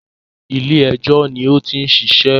Ilé ẹjọ́ ló ti ń ṣiṣẹ́